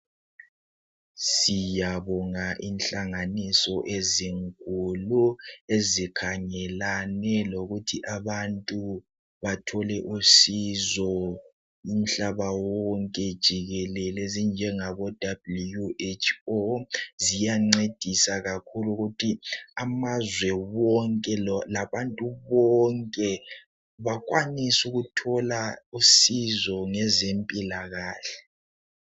Siyabonga inhlanganiso ezinkulu ezikhangelane lokuthi abantu bathole usizo umhlaba wonke jikelele ezinjengaboWHO ziyancedisa kakhulu ukuthi amazwe wonke labantu bonke bakwanise ukuthola usizo ngezempilakahle.